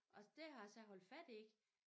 Og det har jeg så holdt fat i